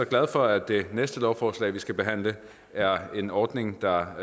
glad for at det næste lovforslag vi skal behandle er om en ordning der